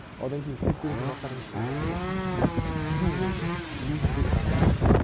одан кейін істеп көретін заттардың ішіне жаңағы жүзу болды мүлде жүзбеген адам